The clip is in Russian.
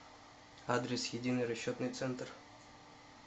адрес единый расчетный центр